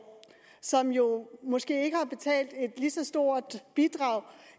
som jo måske ikke har betalt et lige så stort bidrag